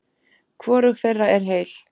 Hvorug þeirra er heil.